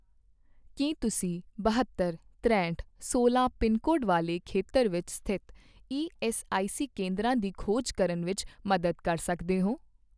ਕੀ ਤੁਸੀਂ ਬਹੱਤਰ, ਤਰੇਹਠ, ਸੋਲਾਂ ਪਿੰਨਕੋਡ ਅਤੇ ਵਾਲੇ ਖੇਤਰ ਵਿੱਚ ਸਥਿਤ ਈਐੱਸਆਈਸੀ ਕੇਂਦਰਾਂ ਦੀ ਖੋਜ ਕਰਨ ਵਿੱਚ ਮਦਦ ਕਰ ਸਕਦੇ ਹੋ?